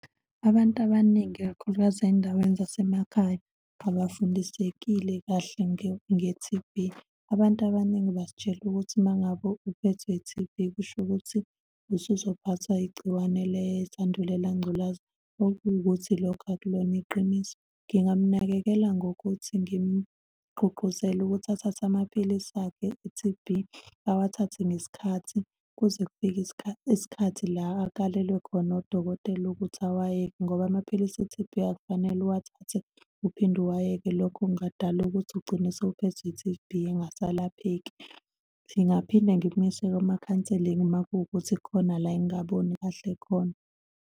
Abantu abaningi, ikakhulukazi ezindaweni zasemakhaya abafundisekile kahle nge-T_B. Abantu abaningi bazitshele ukuthi uma ngabe uphethwe i-T_B kusho ukuthi usuzophathwa igciwane lesandulela ngculaza, okuwukuthi lokho akulona iqiniso. Ngingamnakekela ngokuthi ngimgqugquzele ukuthi athathe amaphilisi akhe e-T_B, awathathe ngesikhathi kuze kufike isikhathi la akalelwe khona udokotela ukuthi awayeke, ngoba amaphilisi e-T_B akufanele uwathathe uphinde uwayeke, lokho kungadala ukuthi ugcine usuphethwe i-T_B engasalapheki. Ngingaphinde ngimise kuma-counselling uma kuwukuthi khona la engingaboni kahle khona.